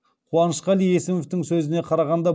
қуанышқали есімовтің сөзіне қарағанда